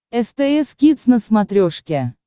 стс кидс на смотрешке